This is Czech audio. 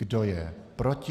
Kdo je proti?